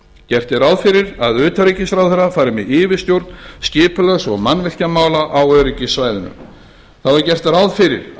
gert er ráð fyrir að utanríkisráðherra fari með yfirstjórn skipulags og mannvirkjamála á öryggissvæðinu þá er gert ráð fyrir